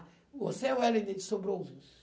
Você, Wellington, sobrou um.